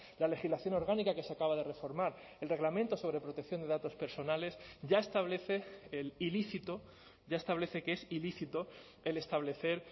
la legislación orgánica que se acaba de reformar el reglamento sobre protección de datos personales ya establece el ilícito ya establece que es ilícito el establecer